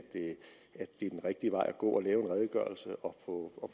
at det er den rigtige vej at gå at lave en redegørelse og få